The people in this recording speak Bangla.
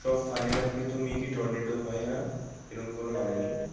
সব ফানেল আকৃতি মেঘই টর্নেডো হয় না এরম কোন মানে নেই